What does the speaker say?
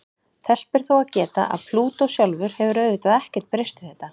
Þess ber þó að geta að Plútó sjálfur hefur auðvitað ekkert breyst við þetta.